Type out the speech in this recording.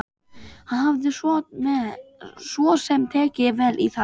Hann hafði svo sem tekið vel í það.